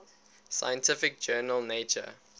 scientific journal nature